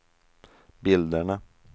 bilderna